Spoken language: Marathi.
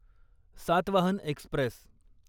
सातवाहन एक्स्प्रेस